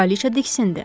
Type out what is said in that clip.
Kraliçə diksindi.